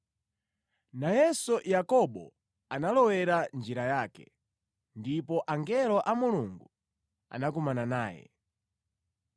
Nayenso Yakobo analowera njira yake, ndipo angelo a Mulungu anakumana naye.